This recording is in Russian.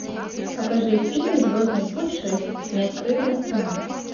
покажи фильм звездный путь шесть неоткрытая страна